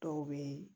Dɔw bɛ